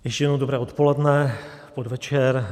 Ještě jednou dobré odpoledne, podvečer.